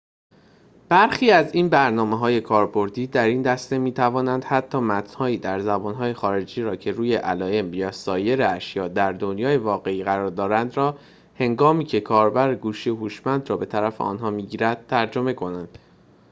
برخی از این برنامه‌های کاربردی در این دسته می‌توانند حتی متن‌هایی در زبان‌های خارجی را که روی علائم یا سایر اشیاء در دنیای واقعی قرار دارند را هنگامیکه کاربر گوشی هوشمند را به طرف آنها می‌گیرد ترجمه کنند